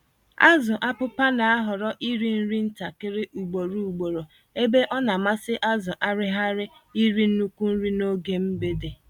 Azụ Apụpa n'ahọrọ iri-nri ntakịrị ugboro ugboro, ebe ọnamasị azụ Araghịra iri nnukwu nri n'oge mgbede.